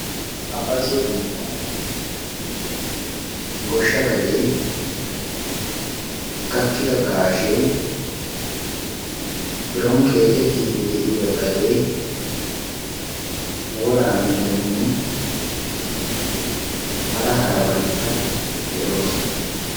Ha bazzo biittan goshsha gadee gakkida gaashee biron qeexettiide de'iya gadee wora mittatinne hara harabatikka de'oosona.